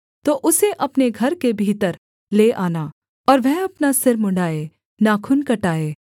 तो उसे अपने घर के भीतर ले आना और वह अपना सिर मुँण्ड़ाएँ नाखून कटाएँ